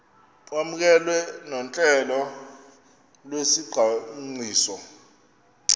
kwamkelwe nohlelo lwesicwangciso